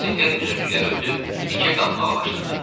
Motosiklet üzümlükləri ötüb dikə qalxmağa başladı.